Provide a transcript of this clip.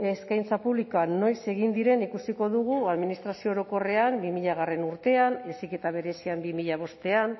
eskaintza publikoa noiz egin diren ikusiko dugu administrazio orokorrean bi mila hogeigarrena urtean heziketa berezian bi mila bostean